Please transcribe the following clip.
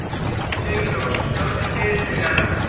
Sigurlás, slökktu á niðurteljaranum.